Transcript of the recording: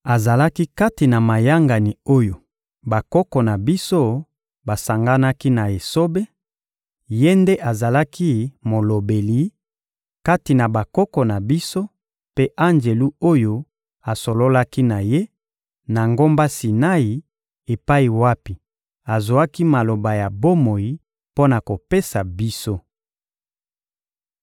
Azalaki kati na mayangani oyo bakoko na biso basanganaki na esobe; ye nde azalaki molobeli, kati na bakoko na biso mpe anjelu oyo asololaki na ye, na ngomba Sinai epai wapi azwaki Maloba ya bomoi mpo na kopesa biso.